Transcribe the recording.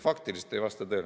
Faktiliselt ei vasta tõele.